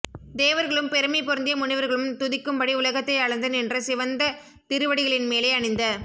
தேவர்களும் பெருமை பொருந்திய முனிவர்களும் துதிக்கும்படி உலகத்தை அளந்து நின்ற சிவந்த திருவடிகளின்மேலே அணிந்த